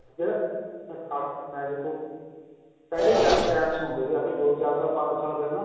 ਜਿਹੜਾ ਇਹ ਮੈਂ ਦੇਖੋ ਪਹਿਲੇ time ਸੁਣਦੇ ਸੀ ਅੱਜ ਦੋ ਚਾਰ ਪੰਜ ਸਾਲ ਪਹਿਲਾਂ